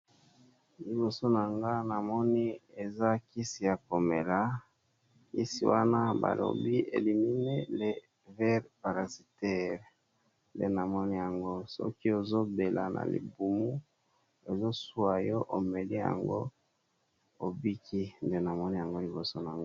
liboso na nga na moni eza kisi ya komela kisi wana balobi elimini levere parasitere le namoni yango soki ozobela na libumu ezosua yo omeli yango obiki nde namoni yango liboso na nga